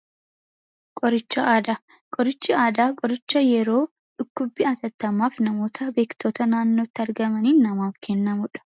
Qoricha aadaa, qorichi aadaa qoricha yeroo dhukkubbi atattamaaf namoota beektoota naannootti argamaniin namaaf kennamuudha.